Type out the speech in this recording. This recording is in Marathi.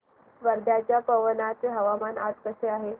वर्ध्याच्या पवनार चे हवामान आज कसे आहे